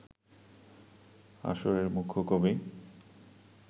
আসরের মূখ্য কবি